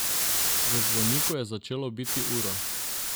V zvoniku je začelo biti uro.